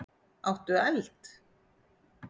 Áttu eld?